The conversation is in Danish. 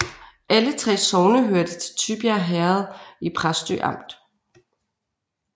Alle 3 sogne hørte til Tybjerg Herred i Præstø Amt